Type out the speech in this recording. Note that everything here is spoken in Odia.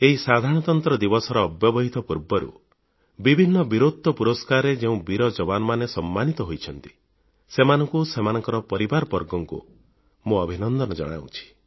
ଏହି ସାଧାରଣତନ୍ତ୍ର ଦିବସର ଅବ୍ୟବହିତ ପୂର୍ବରୁ ବିଭିନ୍ନ ବୀରତ୍ୱ ପୁରସ୍କାରରେ ଯେଉଁ ବୀର ଯବାନମାନେ ସମ୍ମାନିତ ହୋଇଛନ୍ତି ସେମାନଙ୍କୁ ଓ ସେମାନଙ୍କ ପରିବାରବର୍ଗଙ୍କୁ ମୁଁ ଅଭିନନ୍ଦନ ଜଣାଉଛି